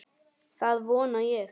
Það vona ég